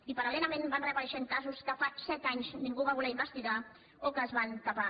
i paralreixent casos que fa set anys ningú va voler investigar o que es van tapar